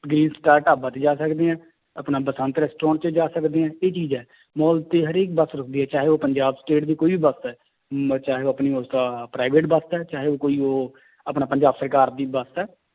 ਢਾਬਾ ਤੇ ਜਾ ਸਕਦੇ ਹੈ ਆਪਣਾ ਬਸੰਤ restaurant 'ਚ ਜਾ ਸਕਦੇ ਹੈ ਇਹ ਚੀਜ਼ ਹੈ, ਮਾਲ ਤੇ ਹਰੇਕ ਬਸ ਰੁੱਕਦੀ ਹੈ ਚਾਹੇ ਉਹ ਪੰਜਾਬ state ਦੀ ਕੋਈ ਵੀ ਬਸ ਹੈ ਮ~ ਚਾਹੇ ਆਪਣੀ private ਬਸ ਹੈ ਚਾਹੇ ਉਹ ਕੋਈ ਉਹ ਆਪਣਾ ਪੰਜਾਬ ਸਰਕਾਰ ਦੀ ਬਸ ਹੈ